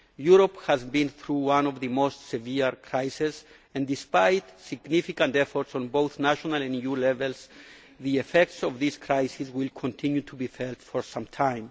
Europe has been through one of the most severe crises, and despite significant efforts at both national and EU level, the effects of this crisis will continue to be felt for some